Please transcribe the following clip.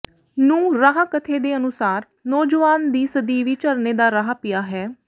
ਨੂੰ ਰਾਹ ਕਥੇ ਦੇ ਅਨੁਸਾਰ ਨੌਜਵਾਨ ਦੀ ਸਦੀਵੀ ਝਰਨੇ ਦਾ ਰਾਹ ਪਿਆ ਹੈ